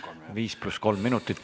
5 + 3 minutit.